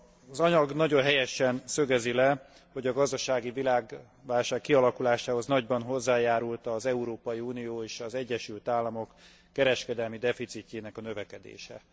Az anyag nagyon helyesen szögezi le, hogy a gazdasági világválság kialakulásához nagyban hozzájárult az Európai Unió és az Egyesült Államok kereskedelmi deficitjének a növekedése.